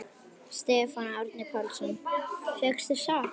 Stefán Árni Pálsson: Fékkstu sjokk?